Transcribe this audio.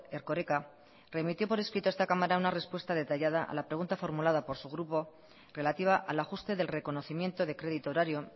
erkoreka remitió por escrito a esta cámara una respuesta detallada a la pregunta formulada por su grupo relativa al ajuste del reconocimiento de crédito horario